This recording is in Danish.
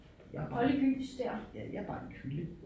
Jeg er bare ja jeg bare en kylling